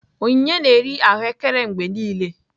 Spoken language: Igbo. Onyinye na-eri ahụekere mgbe niile